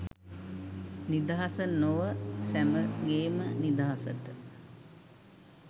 නිදහස නොව සැමගේම නිදහසට